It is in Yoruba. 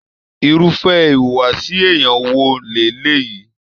Irúfẹ́ ìwùwàsi èèyàn wò leleyii?